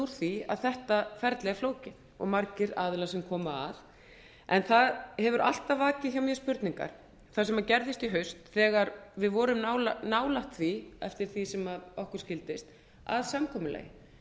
því að þetta kerfi er flókið og margir aðilar sem komu að en það hefur alltaf vakið hjá mér spurningar það sem gerðist í haust þegar við vorum nálægt því aftur því sem okkur skildist að samkomulagi